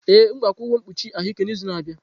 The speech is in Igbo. Ee, m ga-akwụ ụgwọ mkpuchi ahụike n'izu na-abịa.